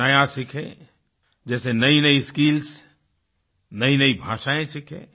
कुछ नया सीखें जैसे नयीनयी स्किल्स नयीनयी भाषाएँ सीखें